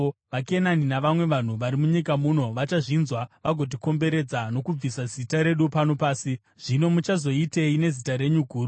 VaKenani navamwe vanhu vari munyika muno vachazvinzwa vagotikomberedza nokubvisa zita redu pano pasi. Zvino muchagozoitei nezita renyu guru?”